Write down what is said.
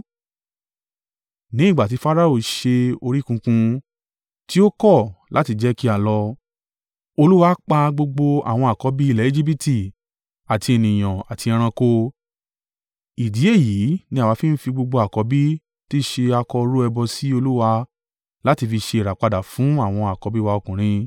Ní ìgbà ti Farao ṣe orí kunkun, ti ó kọ̀ láti jẹ́ kí a lọ, Olúwa pa gbogbo àwọn àkọ́bí ilẹ̀ Ejibiti, àti ènìyàn àti ẹranko. Ìdí èyí ni àwa fi ń fi gbogbo àkọ́bí tí í ṣe akọ rú ẹbọ sí Olúwa láti fi ṣe ìràpadà fún àwọn àkọ́bí wa ọkùnrin.’